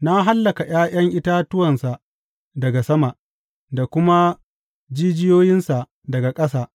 Na hallaka ’ya’yan itatuwansa daga sama, da kuma jijiyoyinsa daga ƙasa.